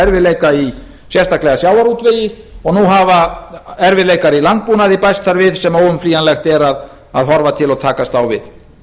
erfiðleika í sérstaklega sjávarútvegi og nú hafa erfiðleikar í landbúnaði bæst þar við sem óumflýjanlegt er að horfa til og takast á við